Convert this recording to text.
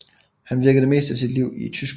Han virkede det meste af sit liv i Tyskland